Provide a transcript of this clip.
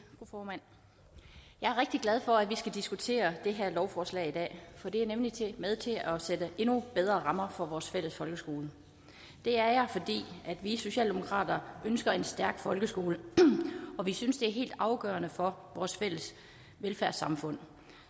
er rigtig glad for at vi skal diskutere det her lovforslag i dag for det er nemlig med til at sætte endnu bedre rammer for vores fælles folkeskole vi socialdemokrater ønsker en stærk folkeskole og vi synes det er helt afgørende for vores fælles velfærdssamfund